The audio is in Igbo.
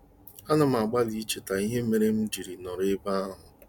A na m agbalị icheta ihe mere m ji nọrọ ebe ahụ.